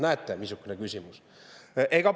Näete, missugune küsimus!